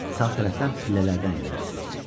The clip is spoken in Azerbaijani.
Sağ tərəfdən pillələrdən enərsiniz.